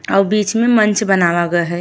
अउ बीच में मंच बनावा ग है।